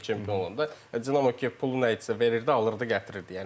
Monpelye çempion olanda Dinamo Kiyev pulu nə idisə verirdi, alırdı, gətirirdi.